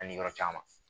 Ani yɔrɔ caman